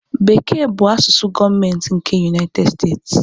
Bekee bụ asụsụ gọọmentị nke United States.